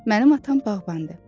Mənim atam bağbandır.